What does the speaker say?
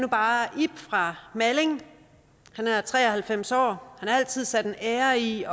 nu bare ib fra malling han er tre og halvfems år og altid sat en ære i